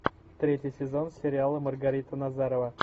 третий сезон сериала маргарита назарова